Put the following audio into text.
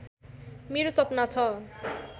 मेरो सपना छ